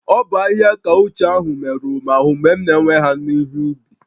Ogwu ahihia kaụch ahụ merụrụ m ahụ́ mgbe m na-ewe ha n'ihe ubi